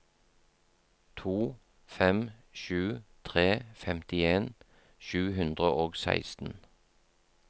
to fem sju tre femtien sju hundre og seksten